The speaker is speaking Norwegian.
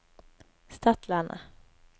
Stadlandet